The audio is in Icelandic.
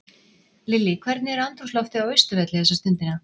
Lillý, hvernig er andrúmsloftið á Austurvelli þessa stundina?